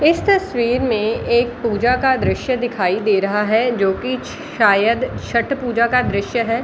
इस तस्वीर में एक पूजा का दृश्य दिखाई दे रहा है जो की शायद छठ पूजा का दृश्य है ।